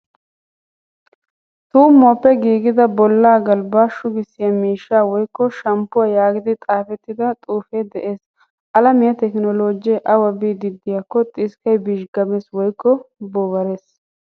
Tuumuwappe giigida bolaa galbba shugisiyaa miishsha woykko shamppuwaa yaagidi xaafettida xuufee de'ees. Alamiya tekinollojjee awa biidi de'iyakko xiskkay bizhgamees woykko bobarees.